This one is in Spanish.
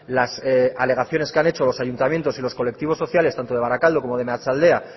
las alegaciones que han hecho los ayuntamientos y los colectivos sociales tanto de barakaldo como de meatzaldea